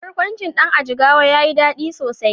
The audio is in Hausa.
Barkwancin Dan a Jigawa yayi dadi sosai.